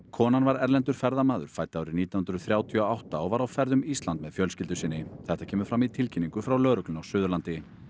konan var erlendur ferðamaður fædd árið nítján hundruð þrjátíu og átta og var á ferð um Ísland með fjölskyldu sinni þetta kemur fram í tilkynningu frá lögreglunni á Suðurlandi